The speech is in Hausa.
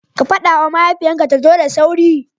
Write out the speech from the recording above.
Fada ma mahaifiyan ka ta zo da sauri.